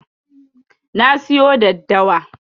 Na siyo daddawa.